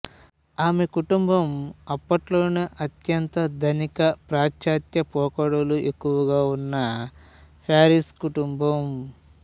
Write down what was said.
ఆమె కుటుంబం అప్పట్లోనే అత్యంత ధనిక పాశ్చాత్య పోకడలు ఎక్కువగా ఉన్న పార్సీ కుటుంబం